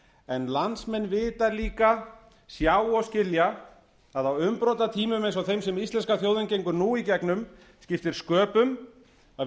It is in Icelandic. en landsmenn vita líka sjá og skilja að á umbrotatímum eins og þeim sem íslenska þjóðin gengur nú í gegnum skiptir sköpum að